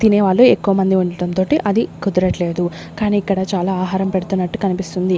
తినేవాళ్లు ఎక్కువమంది ఉండటం తోటి అది కుదరట్లేదు కానీ ఇక్కడ చాలా ఆహారం పెడుతున్నట్టు కనిపిస్తుంది.